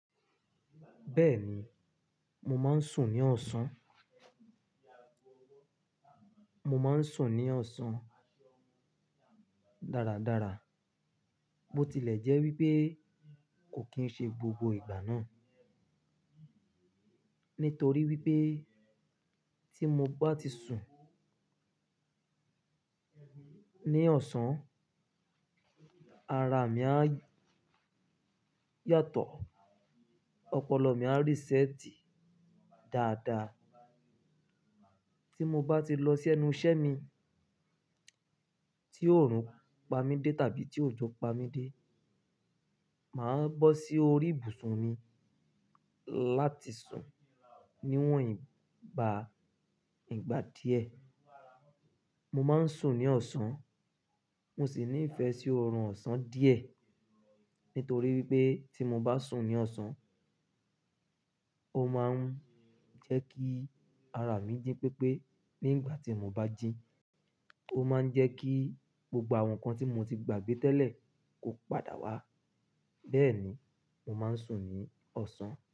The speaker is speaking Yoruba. Bẹ́ẹ̀ni, mo máa ń sùn ní ọ̀sán. Mo máa ń sùn ní ọ̀sán dáradára. Bo tilẹ̀ jẹ́ wípé kò kín ń ṣe gbogbo ìgbà náà, nítorí wípé tí mo bá ti sùn ní ọ̀sán, ara mi á yàtọ̀, ọpọlọ mi á resẹ́tì dáadaa. Tí mo bá ti lọ sí ẹnu ìṣẹ́ mi tí òòrùn pa mí dé tàbí tí òjò pa mí dé, màá bọ́ sí orí ìbùsùn mi láti sùn níwọ̀n ìgbà ìgbà díẹ̀. Mo máa ń sùn ní ọ̀sán, mo sì ní ìfẹ́ sí ọrùn ọ̀sán díẹ̀ nítorí wípé tí mo bá sùn ní ọ̀sán, ó máa ń jẹ́ kí ara mi jí pépé. Ní ìgbà tí mo bá jí, ó máa ń jẹ́ kí gbogbo àwọn nǹkan tí mo ti gbàgbé tẹ́lẹ̀ kó padà wá. Bẹ́ẹ̀ni, mo máa ń sùn ní ọ̀sán.